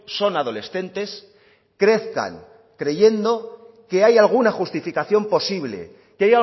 son adolescentes crezcan creyendo que hay alguna justificación posible que